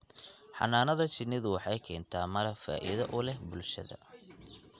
Xannaanada shinnidu waxay keentaa malab faa�iido u leh bulshada.